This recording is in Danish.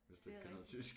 Hvis du ikke kan noget tysk